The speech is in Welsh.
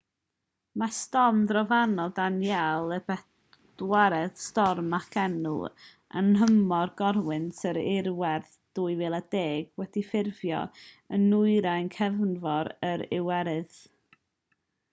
mae storm drofannol danielle y bedwaredd storm ag enw yn nhymor corwynt yr iwerydd 2010 wedi ffurfio yn nwyrain cefnfor yr iwerydd